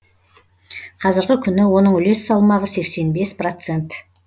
қазіргі күні оның үлес салмағы сексен бес процент